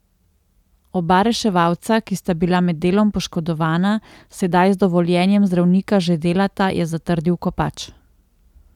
Oba reševalca, ki sta bila med delom poškodovana, sedaj z dovoljenjem zdravnika že delata, je zatrdil Kopač.